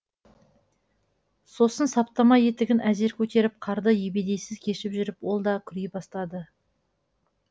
сосын саптама етігін әзер көтеріп қарды ебедейсіз кешіп жүріп ол да күрей бастады